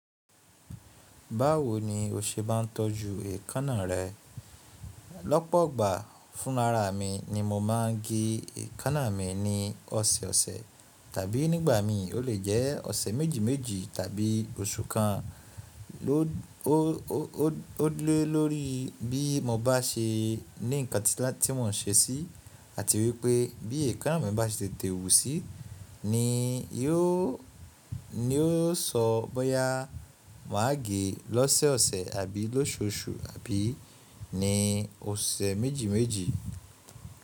Báwo ni o ṣe má n tọ́jú èékánná rẹ? Lọ́pọ̀ igbà fún lára mi ni mo má n gé èékánná mi ní ọ̀sẹ̀ ọ̀sẹ̀ tàbí nígbà mi ó lè jẹ́ ọ̀sẹ̀ méjì méjì tàbí oṣù kan. Ó lé lórí bí mo bá ṣe ní nǹkan tí mo n ṣe sí àti wípé bí èékánná mi bá ṣe tètè wú sí ni yó sọ bóyá mà á gé lọ́sẹ̀ ọ̀sẹ̀ àbí lóṣù osù àbí ni osẹ̀ méjì méjì.